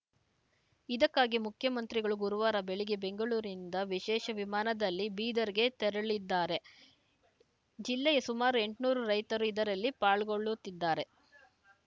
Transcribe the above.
ಇದಕ್ಕಾಗಿ ಮುಖ್ಯಮಂತ್ರಿಗಳು ಗುರುವಾರ ಬೆಳಗ್ಗೆ ಬೆಂಗಳೂರಿನಿಂದ ವಿಶೇಷ ವಿಮಾನದಲ್ಲಿ ಬೀದರ್‌ಗೆ ತೆರಳದ್ದಾರೆ ಜಿಲ್ಲೆಯ ಸುಮಾರು ಎಂಟನೂರು ರೈತರು ಇದರಲ್ಲಿ ಪಾಲ್ಗೊಳ್ಳುತ್ತಿದ್ದಾರೆ